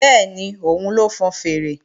Bẹ́ẹ̀ni, òun ló ń fọn fèèrè